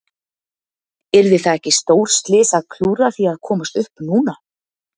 Yrði það ekki stórslys að klúðra því að komast upp núna?